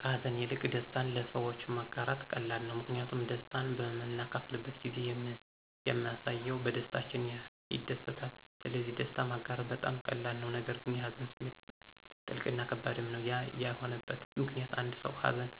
ከሀዘን ይልቅ ደስታን ለሰዎች ማጋራት ቀላል ነው። ምክንያቱም ደስታን በምናካፍልበት ጊዜ ያምሰው በደስታችን ይደሰታል ስለዚህ ደስታ ማጋራት በጣም ቀላል ነው። ነገር ግን የሀዘን ስሜት ጥልቅ እና ከባድም ነው። ያ የሆነበት ምክኒያት አንድ ሰው ሀዘን